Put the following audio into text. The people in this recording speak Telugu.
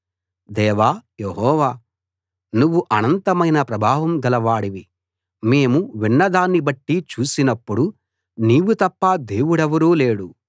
దేవా యెహోవా నువ్వు అనంతమైన ప్రభావం గలవాడివి మేము విన్నదాన్ని బట్టి చూసినప్పుడు నీవు తప్ప దేవుడెవరూ లేడు